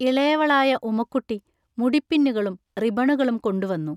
ഇളയവളായ ഉമക്കുട്ടി മുടിപ്പിന്നുകളും റിബണുകളും കൊണ്ടുവന്നു.